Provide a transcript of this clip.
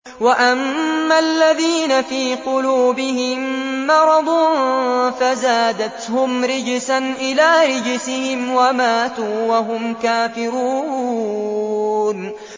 وَأَمَّا الَّذِينَ فِي قُلُوبِهِم مَّرَضٌ فَزَادَتْهُمْ رِجْسًا إِلَىٰ رِجْسِهِمْ وَمَاتُوا وَهُمْ كَافِرُونَ